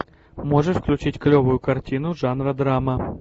можешь включить клевую картину жанра драма